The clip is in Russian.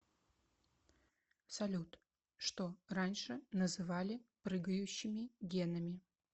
салют что раньше называли прыгающими генами